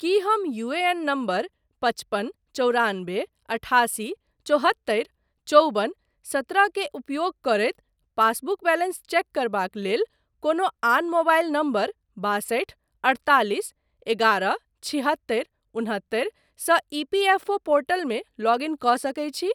की हम UAN number पचपन चौरानबे अठासी चौहत्तरि चौबन सत्रह के उपयोग करैत पासबुक बैलेंस चेक करबाक लेल कोनो आन मोबाइल नंबर बासठि अढ़तालिस एगारह छिहत्तरि उन्हत्तरि सँ ईपीएफओ पोर्टलमे लॉग इन कऽ सकैत छी?